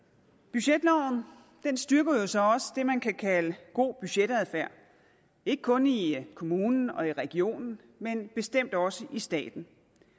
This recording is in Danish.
budgetloven styrker jo så også det man kan kalde god budgetadfærd ikke kun i kommunen og i regionen men bestemt også i staten